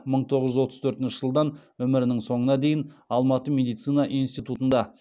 мың тоғыз жүз отыз төртінші жылдан өмірінің соңына дейін алматы медицина институтында